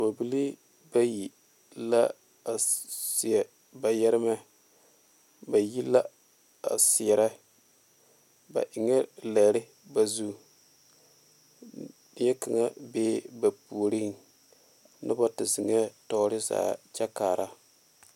Dɔɔbilii bayi la a seɛ ba yɛremɛ ba yi la a seɛrɛ ba eŋɛɛ lɛre ba zu teɛ kaŋa bee ba puoriŋ noba te zeŋɛɛ tɔɔre zaa kyɛ kaara.